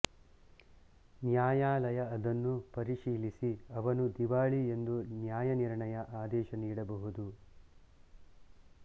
ನ್ಯಾಯಾಲಯ ಅದನ್ನು ಪರಿಶೀಲಿಸಿ ಅವನು ದಿವಾಳಿ ಎಂದು ನ್ಯಾಯನಿರ್ಣಯ ಆದೇಶ ನೀಡಬಹುದು